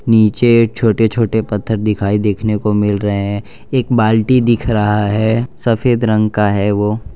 नीचे छोटे छोटे पत्थर दिखाई देखने को मिल रहे हैं एक बाल्टी दिख रहा है सफेद रंग का है वो --